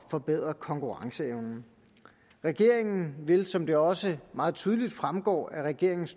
forbedre konkurrenceevnen regeringen vil som det også meget tydeligt fremgår af regeringens